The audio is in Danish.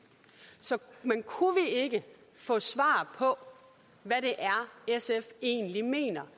men kunne vi ikke få svar på hvad det er sf egentlig mener